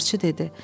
Tarçı dedi.